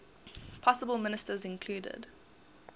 possible ministers included